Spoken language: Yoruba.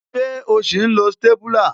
Ṣé o sì ń lo stépúlà